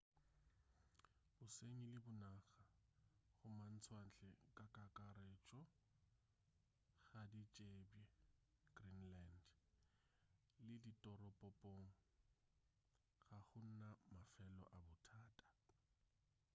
bosenyi le bonaba go matšwantle ka kakaretšo ga di tsebje greenland le ditoropopong ga go na mafelo a bothata